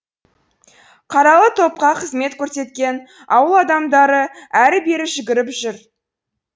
қаралы топқа қызмет көрсеткен ауыл адамдары әрі бері жүгіріп жүр